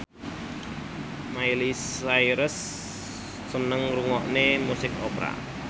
Miley Cyrus seneng ngrungokne musik opera